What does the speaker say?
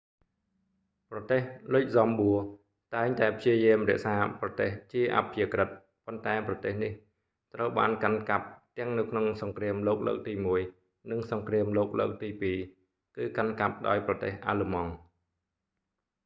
ប្រទេសលុចហ្សំបួរតែងតែព្យាយាមរក្សាប្រទេសជាអព្យាក្រឹត ប៉ុន្តែប្រទេសនេះត្រូវបានកាន់កាប់ទាំងនៅក្នុងសង្គ្រាមលោកលើកទីមួយ និងសង្គ្រាមលោកលើកទីពីរ គឺកាន់កាប់ដោយប្រទេសអាល្លឺម៉ង់